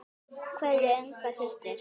Kveðja, Inga systir.